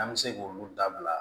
An bɛ se k'olu dabila